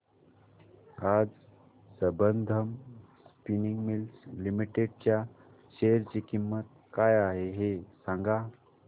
आज Sambandam spinning mills limited च्या share ची किंमत काय आहे हे सांगा